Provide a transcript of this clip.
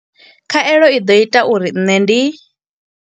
Khaelo i ḓo ita uri nṋe ndi